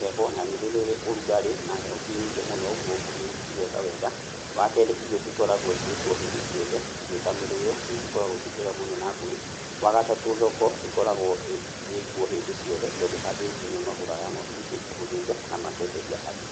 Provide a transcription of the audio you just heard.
heho na nĩ rĩrĩ ũrũgarĩ, na heho tĩ nyingĩ mũno ũguo mbũri cĩgeka wega, wa kerĩ ĩrio cĩkoragũo ciĩkuo hĩndĩ ciothe, irio ta mĩrĩo nĩ cĩkoragũo cĩ njega mũno na mbũri, wa gatatũ thoko ĩkoragwo ĩkwo hĩndĩ ciothe tondũ athĩnji nĩo magũraga ng'ondu ici, gũthinja na makenderia andũ.